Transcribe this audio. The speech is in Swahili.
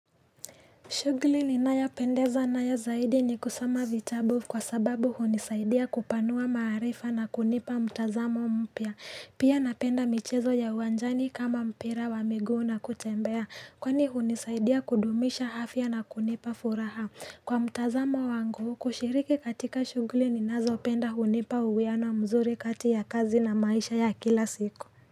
Shughuli ninayopendezwa nayo zaidi ni kusoma vitabu kwa sababu hunisaidia kupanua maarifa na kunipa mtazamo mpya. Pia napenda michezo ya uwanjani kama mpira wa miguu na kutembea. Kwani hunisaidia kudumisha afya na kunipa furaha. Kwa mtazamo wangu, kushiriki katika shughuli ninazo penda hunipa uwiano mzuri kati ya kazi na maisha ya kila siku.